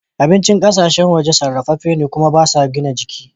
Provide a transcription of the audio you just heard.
Abincin ƙasashen waje sarrafefe ne kuma ba su gina jiki.